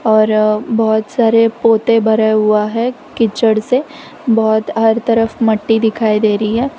और अ बहोत सारे पोते भरे हुआ है किचड से बहोत हर तरफ मट्टी दिखाई दे रही है।